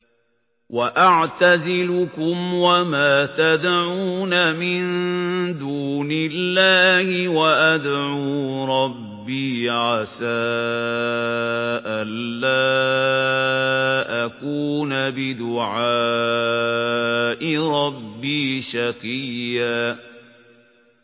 وَأَعْتَزِلُكُمْ وَمَا تَدْعُونَ مِن دُونِ اللَّهِ وَأَدْعُو رَبِّي عَسَىٰ أَلَّا أَكُونَ بِدُعَاءِ رَبِّي شَقِيًّا